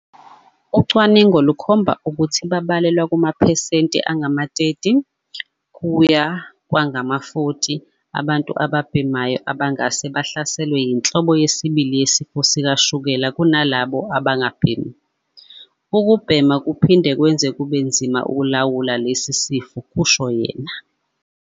"Ucwaningo lukhomba ukuthi babalelwa kumaphesenti angama-30 kuya kwangama-40 abantu ababhemayo abangahle bahlaselwe yinhlobo yesibili yesifo sikashukela ukunalabo abangabhemi. Ukubhema kuphinde kwenze kube nzima ukulawula lesi sifo," kusho yena.